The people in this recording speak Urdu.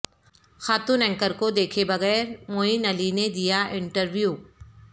خاتون اینکر کو دیکھے بغیر معین علی نے دیا انٹر ویو